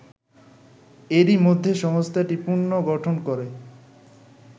এরই মধ্যে সংস্থাটি পুনর্গঠন করে